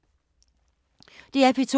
DR P2